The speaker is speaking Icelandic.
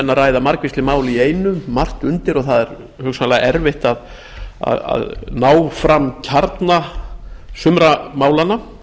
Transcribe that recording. að ræða margvísleg mál í einu margt undir og það er hugsanlega erfitt að ná fram kjarna sumra málanna